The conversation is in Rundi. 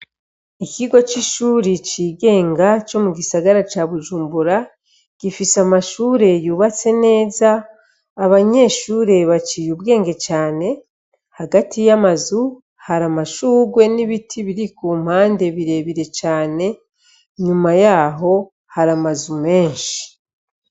Ikigo c'ishuri cigenga co mu gisagara ca Bujumbura gifise amashure yubatse neza, abanyeshure baciye ubwenge cane, hagati y'amazu hari amashurwe n'ibiti biri ku mpande birebire cane, Inyuma yaho hari amazu menshi.